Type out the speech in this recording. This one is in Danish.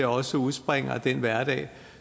også udspringer af den hverdag